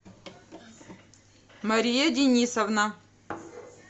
мария денисовна